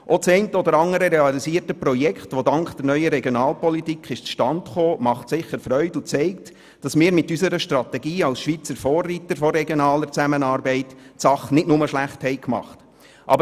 Auch das eine oder andere realisierte Projekt, welches dank der neuen Regionalpolitik zustande kam, bereitet sicher Freude und zeigt, dass wir mit unserer Strategie als Schweizer Vorreiter in der regionalen Zusammenarbeit die Sache nicht nur schlecht gemacht haben.